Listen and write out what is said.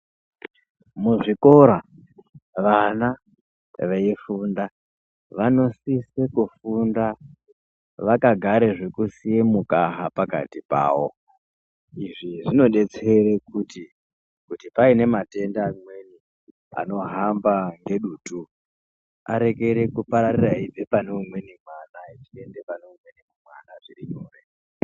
Muzvikora vana veifunda vanosisa kufunda vakagara zvekuisiya mukaha pakati pavo. Izvi zvinodetsere kuti paine matenda amweni anohamba ngedutu arekere kupararira eibve pane umweni mwana echienda pane umweni mwana zviri nyore.